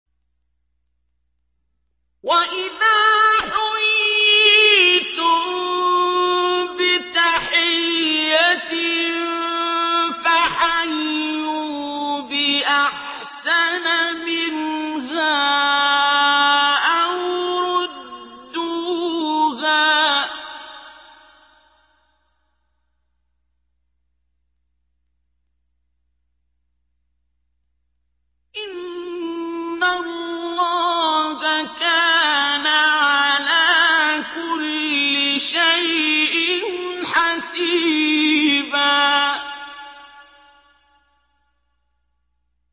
وَإِذَا حُيِّيتُم بِتَحِيَّةٍ فَحَيُّوا بِأَحْسَنَ مِنْهَا أَوْ رُدُّوهَا ۗ إِنَّ اللَّهَ كَانَ عَلَىٰ كُلِّ شَيْءٍ حَسِيبًا